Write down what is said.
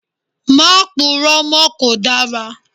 Má puró mọ́ kò dára!